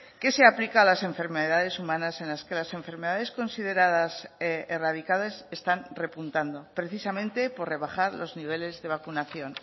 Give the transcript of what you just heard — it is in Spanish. que se aplica a las enfermedades humanas en las que las enfermedades consideradas erradicadas están repuntando precisamente por rebajar los niveles de vacunación